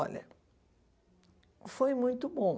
Olha, foi muito bom.